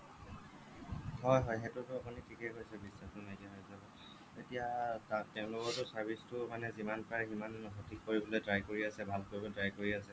হয় হয় সেইটোতো আপুনি ঠিকে কৈছে বিশ্বাসটো নাইকিয়া হৈ যাব এতিয়া তাত তেওঁলোকৰটো service টো যিমান পাৰে সিমান সঠিক কৰিবলে try কৰি আছে ভাল কৰিবলে try কৰি আছে